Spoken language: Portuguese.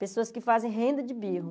Pessoas que fazem renda de birro.